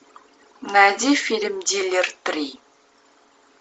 найди фильм дилер три